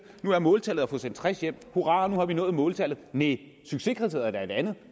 nu var måltallet at få sendt tres hjem hurra nu har vi nået måltallet næh succeskriteriet er da